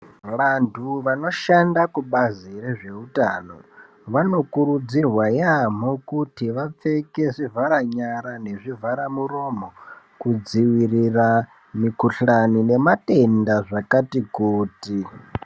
Vantu vanoshanda kubazi rezveutano vanokurudzirwa yaamho kuti vapfeke zvivhara nyara nezvivharamuromo kudziirira mikhuhani nematenda zvakati kuti.